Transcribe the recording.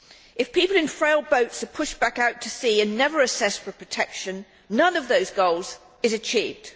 If people in frail boats are pushed back out to sea and never assessed for protection, none of those goals is achieved.